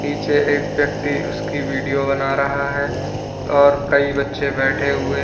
पीछे एक व्यक्ति उसकी वीडियो बना रहा है और कई बच्चे बैठे हुए--